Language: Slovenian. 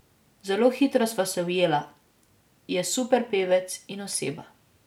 Zelo hitro sva se ujela, je super pevec in oseba.